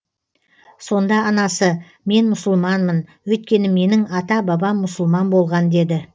сонда анасы мен мұсылманмын өйткені менің ата бабам мұсылман болған деді